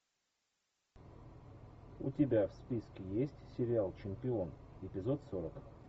у тебя в списке есть сериал чемпион эпизод сорок